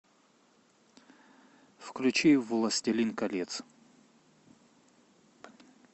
включи властелин колец